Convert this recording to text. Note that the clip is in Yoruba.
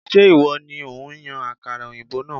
Ṣé ìwọ ni òun yan àkàrà òyìnbó náà?